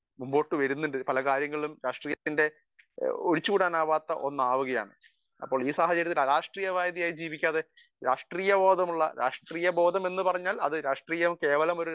speaker 1 മുൻപോട്ടു വരുന്നുണ്ട് പല കാര്യങ്ങളിലും രാഷ്ട്രീയത്തിന്റെ ഒഴിച്ചു കൂടാനാവാത്ത ഒന്നാവുകയാണ് അപ്പോൾ ഈ സാഹചര്യത്തിൽ അരാഷ്ട്രീയമായി ജീവിക്കാതെ രാഷ്ട്രീയ ബോധമുള്ള രാഷ്ട്രീയ ബോധം എന്ന് പറഞ്ഞാൽ അത് കേവലം ഒരു രാഷ്ട്രീയം